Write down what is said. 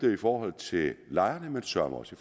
i forhold til lejerne men søreme også